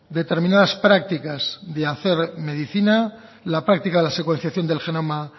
determinadas prácticas de hacer medicina la práctica de secuenciación del genoma